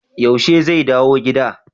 Yaushe zai dawo gida?